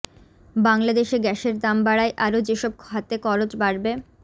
বাংলাদেশে গ্যাসের দাম বাড়ায় আরো যেসব খাতে খরচ বাড়বে